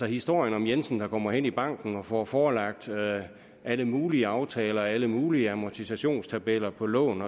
historien om jensen der kommer hen i banken og får forelagt alle mulige aftaler og alle mulige amortisationstabeller på lån